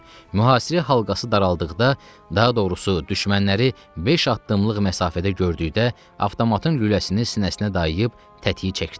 Mühasirə halqası daraldıqda, daha doğrusu düşmənləri beş addımlıq məsafədə gördükdə, avtomatın lüləsini sinəsinə dayıyıb tətiyi çəkdi.